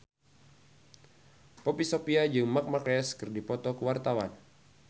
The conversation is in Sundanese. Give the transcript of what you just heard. Poppy Sovia jeung Marc Marquez keur dipoto ku wartawan